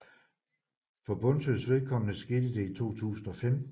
For Bundsøs vedkommende skete det i 2015